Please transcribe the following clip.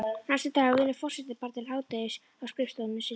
Næstu daga vinnur forsetinn bara til hádegis á skrifstofunni sinni.